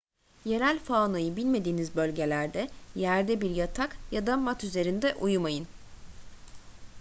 yerel faunayı bilmediğiniz bölgelerde yerde bir yatak ya da mat üzerinde uyumayın